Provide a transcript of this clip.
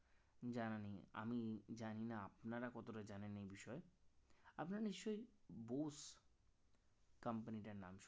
জানা নেই আমি জানি না আপনারা কতটা জানেন এই বিষয়ে আপনারা নিশ্চয়ই বোস company টার নাম